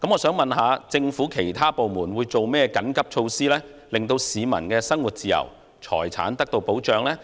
請問政府其他部門有何緊急措施，令市民的生活自由和財產得到保障？